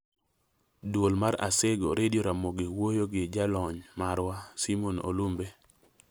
Duol mar Asego - Redio Ramogi owuoyo gi jalony marwa Simon Olumbe